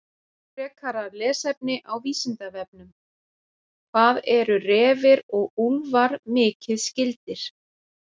Frekara lesefni á Vísindavefnum: Hvað eru refir og úlfar mikið skyldir?